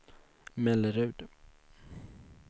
Mellerud